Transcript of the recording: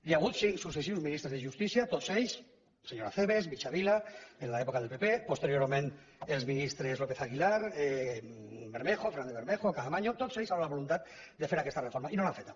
hi ha hagut cinc successius ministres de justícia tots ells senyor acebes mitjavila en l’època del pp posteriorment els ministres lópez aguilar fernández bermejo caamaño amb la voluntat de fer aquesta reforma i no l’han feta